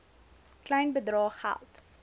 klein bedrae geld